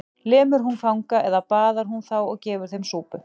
Lemur hún fanga eða baðar hún þá og gefur þeim súpu?